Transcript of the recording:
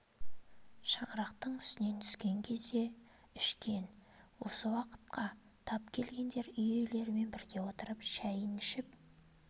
шаңырақтың үстінен түскен кезде ішкен осы уақытқа тап келгендер үй иелерімен бірге отырып шайын ішіп